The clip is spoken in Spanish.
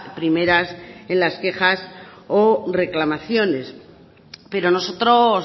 primeras en las quejas o reclamaciones pero nosotros